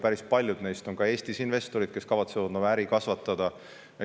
Päris paljud neist on ka Eestis investorid ning nad kavatsevad siin oma äri kasvatada.